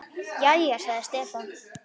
Jæja, sagði Stefán.